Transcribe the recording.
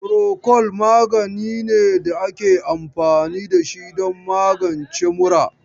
Furokol magani ne da ake anfani da shi don magance mura.